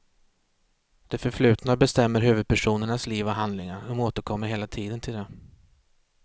Det förflutna bestämmer huvudpersonernas liv och handlingar, de återkommer hela tiden till det.